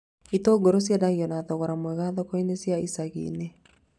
Itũngũrũ ciendagio na thogora mwega thoko-inĩ cia icagi-inĩ